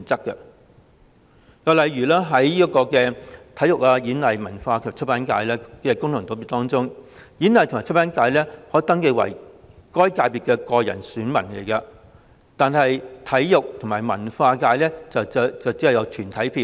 又例如，在體育、演藝、文化及出版界功能界別中，演藝和出版界人士可登記為該界別的個人選民，但體育和文化界卻只有團體票。